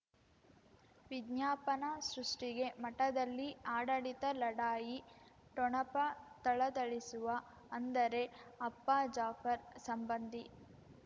ವಿಜ್ಞಾಪನ ಸೃಷ್ಟಿಗೆ ಮಠದಲ್ಲಿ ಆಡಳಿತ ಲಢಾಯಿ ಠೊಣಪ ಥಳಥಳಿಸುವ ಅಂದರೆ ಅಪ್ಪ ಜಾಫರ್ ಸಂಬಂಧಿ